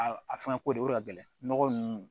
A a fɛngɛ ko de o de ka gɛlɛ nɔgɔ nunnu